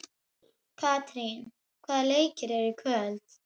Katrín, hvaða leikir eru í kvöld?